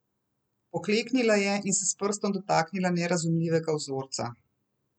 Pokleknila je in se s prstom dotaknila nerazumljivega vzorca.